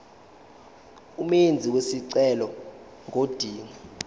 umenzi wesicelo ngodinga